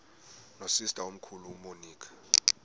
nosister omkhulu umonica